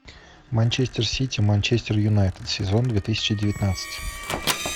манчестер сити манчестер юнайтед сезон две тысячи девятнадцать